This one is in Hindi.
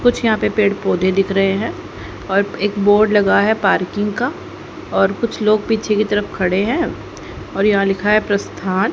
कुछ यहां पे पेड़ पौधे दिख रहे हैं और एक बोर्ड लगा है पार्किंग का और कुछ लोग पीछे की तरफ खड़े हैं और यहां लिखा है प्रस्थान।